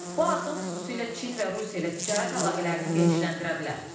Bu addım xüsusilə Çin və Rusiya ilə ticarət əlaqələrini genişləndirə bilər.